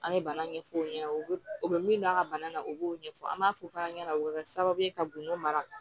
An bɛ bana ɲɛf'o ɲɛna u bɛ u bɛ min don a ka bana na u b'o ɲɛfɔ an b'a fɔ fana ɲɛna o bɛ kɛ sababu ye ka gundo mara